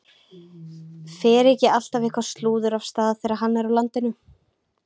Fer ekki alltaf eitthvað slúður af stað þegar hann er á landinu?